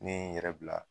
Ne ye n yɛrɛ bila